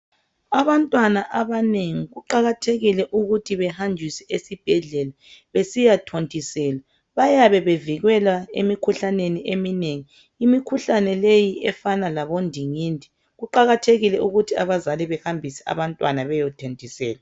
Abantwana abanengi kuqakathekile ukuthi behambiswe esibhedlela besiya thontiselwa. Bayabe bevikelwa emikhuhlaneni eminengi. Imikhuhlane leyi efana labondingindi kuqakathekile ukuthi abazali bahambise abantwana bayethontiselwa.